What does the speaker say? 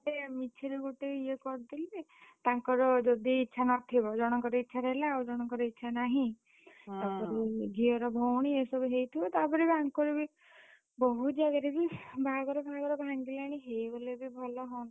ଗୋଟେ ମିଛେରେ ଗୋଟେ ଇଏ କରିଦେଲେ, ତାଙ୍କର ଯଦି ଇଛା ନଥିବ, ଜଣଙ୍କର ଇଛା ଥିଲା ଆଉ ଜଣଙ୍କର ଇଛା ନାହିଁ। ଝିଅର ଭଉଣୀ ଏ ସବୁ ହେଇଥିବ ତାପରେ ବି ଆଙ୍କର ବି ବହୁତ୍ ଜାଗାରେ ବି breath ବାହାଘର ଫାହାଘର ଭାଙ୍ଗିଲାଣି ହେଇଗଲେ ବି ଭଲ,